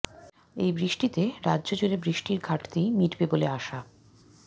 এই বৃষ্টিতে রাজ্য জুড়ে বৃষ্টির ঘাটতি মিটবে বলে আশা